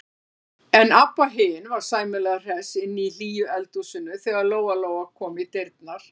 En Abba hin var sæmilega hress inni í hlýju eldhúsinu þegar Lóa-Lóa kom í dyrnar.